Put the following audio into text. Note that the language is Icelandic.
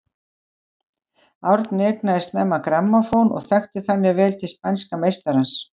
Árni eignaðist snemma grammófón og þekkti þannig vel til spænska meistarans.